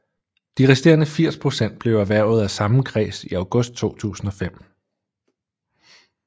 De resterende 80 procent blev erhvervet af samme kreds i august 2005